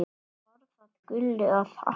Var það Gullu að þakka.